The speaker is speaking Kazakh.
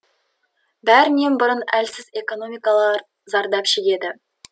бәрінен бұрын әлсіз экономикалар зардап шегеді